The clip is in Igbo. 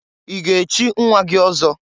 I ga echi nwa gị ọzọ?